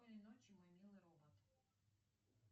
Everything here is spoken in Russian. спокойной ночи мой милый робот